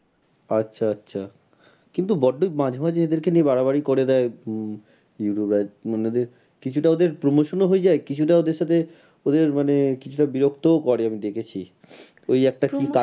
আচ্ছা আচ্ছা কিন্তু বড্ডই মাঝে মাঝে এদেরকে নিয়ে বাড়াবাড়ি করে দেয় উম youtube মানে কিছুটা ওদের promotion ও হয়ে যায় কিছুটা ওদের সাথে ওদের মানে কিছুটা বিরক্ত করে আমরা দেখেছি ওই একটা কি